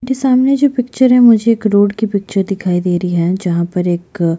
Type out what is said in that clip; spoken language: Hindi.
जो सामने की पिक्चर है मुझे एक रोड की पिक्चर दिखाई दे रही है जहाँ पर एक --